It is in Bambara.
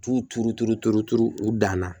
T'u turuturu turu turu u dan na